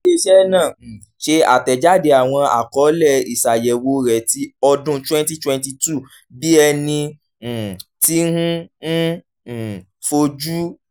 ile-iṣẹ naa um ṣe atẹjade awọn akọọlẹ iṣayẹwo rẹ ti ọdun twenty twenty two bi ẹni um ti n n um foju